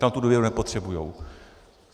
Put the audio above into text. Tam tu důvěru nepotřebují.